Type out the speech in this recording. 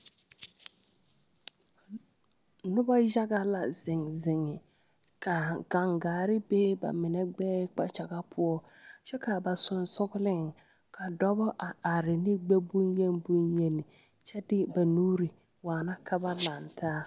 Noba yaga la zeŋ zeŋe ka gaŋgaare be ba mine gbɛɛ kpakyaga poɔ kyɛ ka ba sɔgleŋ ka dɔbɔ a are ne gbɛ boŋyeni kyɛ de ba nuuri waana ka ba laŋ taa.